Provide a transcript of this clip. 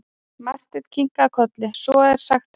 Marteinn kinkaði kolli:-Svo er sagt herra.